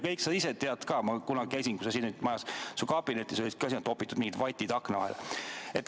Sa ise tead ka – ma kunagi käisin, kui sa siin majas olid, su kabinetis ja seal olid ka topitud mingid vatid akna vahele.